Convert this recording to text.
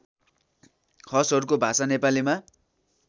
खसहरूको भाषा नेपालीमा